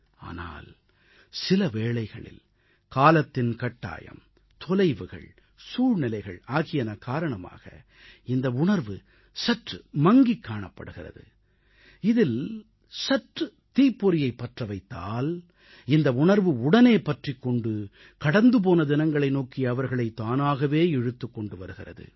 ஆனால் சில வேளைகளில் காலத்தின் கட்டாயம் தொலைவுகள் சூழ்நிலைகள் ஆகியன காரணமாக இந்த உணர்வு சற்று மங்கிக் காணப்படுகிறது இதில் சற்று தீப்பொறியைப் பற்ற வைத்தால் இந்த உணர்வு உடனே பற்றிக் கொண்டு கடந்துபோன தினங்களை நோக்கி அவர்களை தானாகவே இழுத்துக் கொண்டு வருகிறது